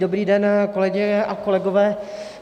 Dobrý den kolegyně a kolegové.